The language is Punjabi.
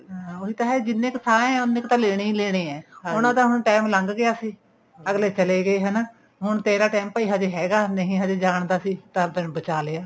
ਹਾਂ ਉਹੀ ਤਾਂ ਹੈ ਜਿੰਨੇ ਕ ਸਾਂਹ ਹੈ ਉੰਨੇ ਤਾਂ ਲੈਣੇ ਹੀ ਲੈਣੇ ਆ time ਲੰਘ ਗਿਆ ਸੀ ਅਗਲੇ ਚਲੇ ਗਏ ਹਨਾ ਹੁਣ ਤੇਰਾ time ਭਾਈ ਹਜੇ ਹੈਗਾ ਨਹੀਂ ਹਜੇ ਜਾਨ ਦਾ ਸੀ ਤਦ ਤੈਨੂੰ ਬਚਾ ਲਿਆ